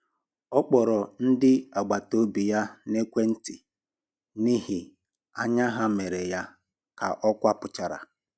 Ọ kpọrọ ndị agbataobi ya n'ekwentị n'ihi anya ha mere ya ka ọ kwapụchara